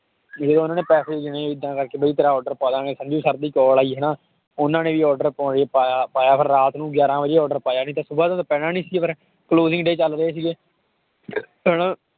ਫਿਰ ਉਹਨਾਂ ਨੇ ਪੈਸੇ ਗਿਣੇ ਏਦਾਂ ਕਰਕੇ ਵੀ ਤੇਰਾ order ਪਾ ਦੇਵਾਂਗੇ ਸੰਜੂ sir ਦੀ call ਆਈ ਹਨਾ, ਉਹਨਾਂ ਨੇ ਵੀ order ਪਾਇਆ ਪਾਇਆ, ਫਿਰ ਰਾਤ ਨੂੰ ਗਿਆਰਾਂ ਵਜੇ order ਪਾਇਆ ਨਹੀਂ ਤਾਂ ਸੁਬ੍ਹਾ ਪੈਣਾ ਨੀ ਸੀ ਫਿਰ closing day ਚੱਲ ਰਹੇ ਸੀਗੇ ਹਨਾ